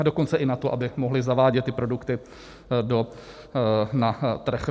A dokonce i na to, aby mohly zavádět ty produkty na trh.